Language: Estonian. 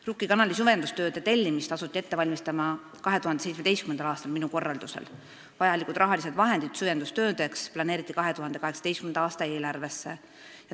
Rukki kanali süvendustööde tellimist asuti ette valmistama 2017. aastal, minu korraldusel, vajalikud rahalised vahendid süvendustöödeks planeeriti 2018. aasta eelarvesse.